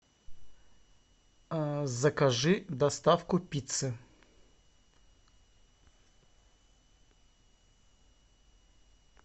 закажи доставку пиццы